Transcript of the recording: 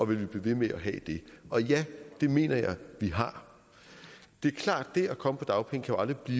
vi vil blive ved med at have det og ja det mener jeg at vi har det er klart det at komme på dagpenge jo aldrig kan